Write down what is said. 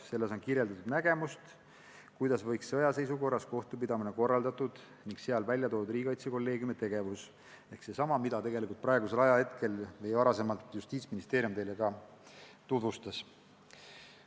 Selles on kirjeldatud nägemust, kuidas võiks sõjaseisukorra ajal olla kohtupidamine korraldatud, ning seal on välja toodud ka riigikaitsekolleegiumi tegevus ehk seesama, mida Justiitsministeerium teile enne tutvustas.